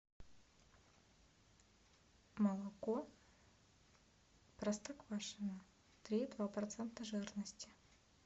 молоко простоквашино три и два процента жирности